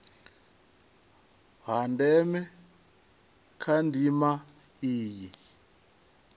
ha ndeme kha ndima iyi